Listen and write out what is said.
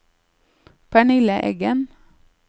Pernille Eggen